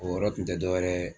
O yɔrɔ kun tɛ dɔwɛrɛ ye